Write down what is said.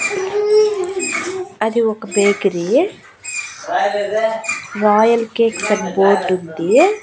అది ఒక bakery royal cakes అని బోర్డు ఉంది.